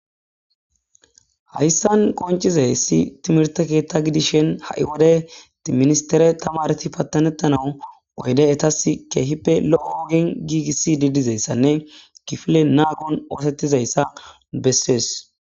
Hayssan qonchizayssi timirte keetta gidishen ha7i wode tiministere tama reti pattanettanawu oyde etas keehippe lo7o oogen giigisi didizayssanne kifile naagon oosettizayssa bessees.